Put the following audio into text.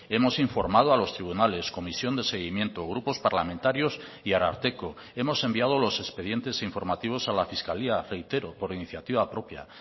hemos informado a los tribunales comisión de seguimiento grupos parlamentarios y ararteko hemos enviado los expedientes informativos a la fiscalía reitero por iniciativa propia